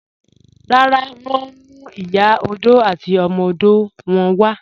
Rárá, wọn ǹ mú Ìyà ọdọ̀ àti ọmọ ọdọ̀ wọn wà